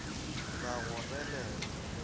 ra go re le ge